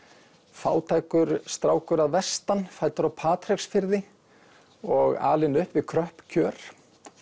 fátækur strákur að vestan fæddur á Patreksfirði og alinn upp við kröpp kjör